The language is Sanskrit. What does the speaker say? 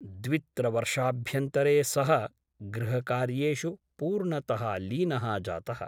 द्वित्रवर्षाभ्यन्तरे सः गृहकार्येषु पूर्णतः लीनः जातः ।